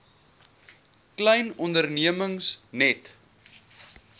klein ondernemings net